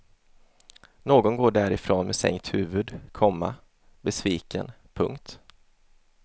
Någon går därifrån med sänkt huvud, komma besviken. punkt